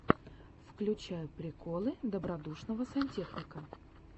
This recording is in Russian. включай приколы добродушного сантехника